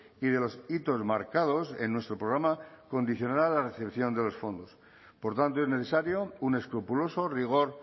y de los hitos marcados en nuestro programa condicionará la recepción de los fondos por tanto es necesario un escrupuloso rigor